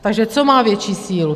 Takže co má větší sílu?